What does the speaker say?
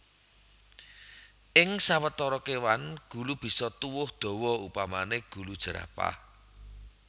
Ing sawetara kéwan gulu bisa tuwuh dawa upamané gulu jerapah